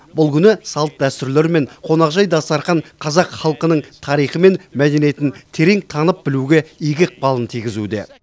бұл күні салт дәстүрлер мен қонақжай дастархан қазақ халқының тарихы мен мәдениетін терең танып білуге игі ықпалын тигізуде